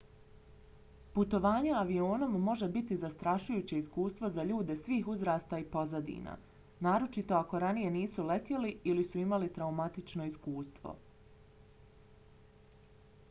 putovanje avionom može biti zastrašujuće iskustvo za ljude svih uzrasta i pozadina naročito ako ranije nisu letjeli ili su imali traumatično iskustvo